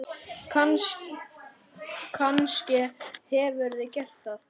Kannske hefurðu gert það.